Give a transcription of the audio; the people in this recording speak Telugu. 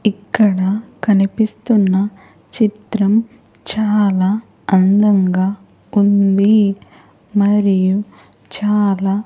ఇక్కడ కనిపిస్తున్న చిత్రం చాలా అందంగా ఉంది మరియు చాలా--